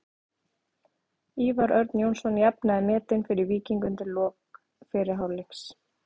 Ívar Örn Jónsson jafnaði metin fyrir Víking undir lok fyrri hálfleiks.